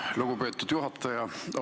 Aitäh, lugupeetud juhataja!